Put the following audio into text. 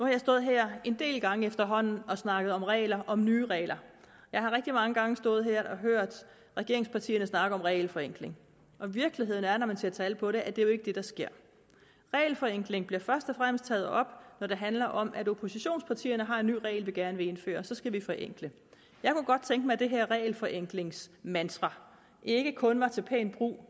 jeg stået her en del gange efterhånden og snakket om regler om nye regler jeg har rigtig mange gange stået her og hørt regeringspartierne snakke om regelforenkling og virkeligheden er når man ser tal på det at det jo ikke er det der sker regelforenkling bliver først og fremmest taget op når det handler om at oppositionspartierne har en ny regel den gerne vil indføre så skal vi forenkle jeg kunne godt tænke mig at det her regelforenklingsmantra ikke kun var til pæn brug